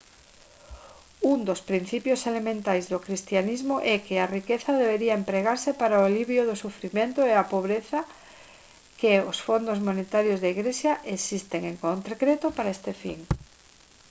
un dos principios elementais do cristianismo é que a riqueza debería empregarse para o alivio do sufrimento e a pobreza e que os fondos monetarios da igrexa existen en concreto para este fin